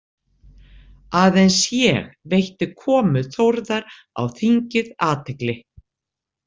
Aðeins ég veitti komu Þórðar á þingið athygli.